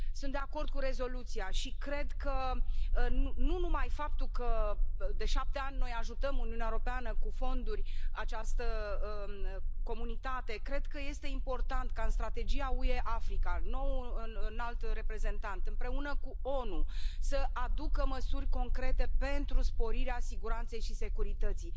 Sunt de acord cu rezoluția și cred că, nu numai faptul că, de șapte ani, noi ajutăm, Uniunea Europeană, cu fonduri, această comunitate, cred că este important ca în Strategia UE Africa, noul Înalt Reprezentant, împreună cu ONU, să aducă măsuri concrete pentru sporirea siguranței și securității.